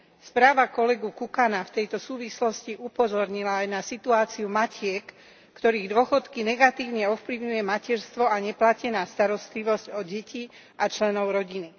Správa kolegu Kukana v tejto súvislosti upozornila aj na situáciu matiek, ktorých dôchodky negatívne ovplyvňuje materstvo a neplatená starostlivosť o deti a členov rodiny.